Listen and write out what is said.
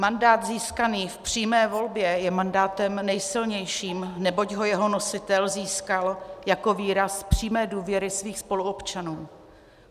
Mandát získaný v přímé volbě je mandátem nejsilnějším, neboť ho jeho nositel získal jako výraz přímé důvěry svých spoluobčanů.